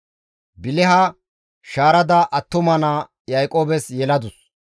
Biliha shaarada attuma naa Yaaqoobes yeladus.